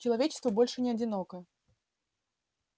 человечество больше не одиноко